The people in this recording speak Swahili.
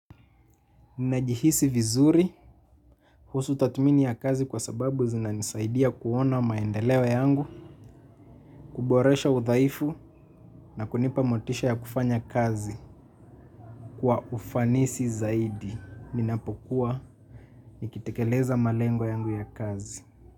Ninajihisi vizuri kuhusu tathmini ya kazi kwa sababu zinanisaidia kuona maendeleo yangu, kuboresha udhaifu na kunipa motisha ya kufanya kazi kwa ufanisi zaidi. Ninapokuwa nikitekeleza malengo yangu ya kazi.